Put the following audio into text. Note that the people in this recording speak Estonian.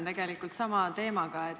Ma jätkan sama teemaga.